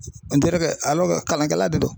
kalankɛla de do.